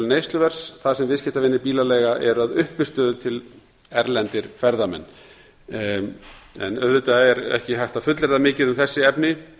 neysluverðs þar sem viðskiptavinir bílaleiga eru að uppistöðu til erlendir ferðamenn auðvitað er ekki hægt að fullyrða mikið um þessi efni